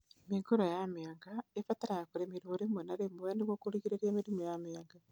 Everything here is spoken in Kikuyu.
Mĩũngũrwa ya mĩanga ĩbataraga kũrĩmĩrwo rĩmwe na rĩmwe nĩguo kũgirĩrĩria mĩrimũ ya mĩanga